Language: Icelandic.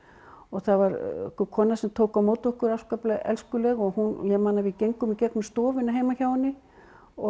það var kona sem tók á móti okkur afskaplega elskuleg ég man að við gengum í gegnum stofuna heima hjá henni og